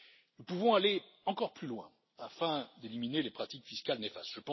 Nous pouvons aller encore plus loin pour éliminer les pratiques fiscales néfastes.